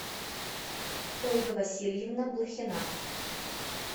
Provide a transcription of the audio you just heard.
ольга васильевна блохина